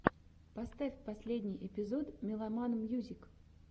поставь последний эпизод меломан мьюзик